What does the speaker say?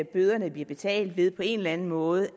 bøderne bliver betalt ved på en eller anden måde